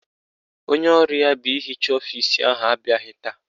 Onye ọrụ ya bụ ịhicha ọfisi ahụ abịaghị taa.